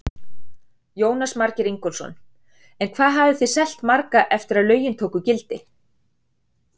Jónas Margeir Ingólfsson: En hvað hafið þið selt marga eftir að lögin tóku gildi?